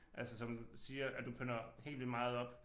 Altså som siger at du pynter helt vildt meget op